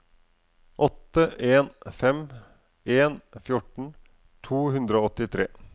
åtte en fem en fjorten to hundre og åttitre